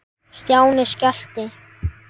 Stjáni skellti